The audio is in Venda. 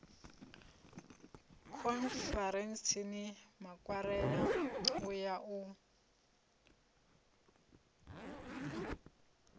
khonferentsini makwarela u ya u